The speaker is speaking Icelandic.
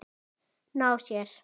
Ná sér?